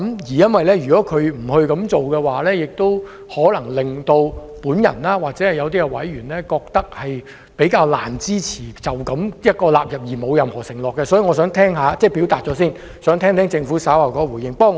如果政府不會這樣做，或會令我或一些委員認為較難支持這樣納入條文，而沒有任何承諾，所以我想先表達，然後聽聽政府稍後的回應。